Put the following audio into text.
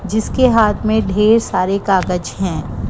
जिसके हाथ में ढेर सारे कागज हैं।